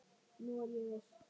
Nú er ég viss!